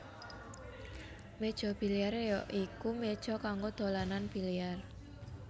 Méja biliar ya iku méja kanggo dolanan biliar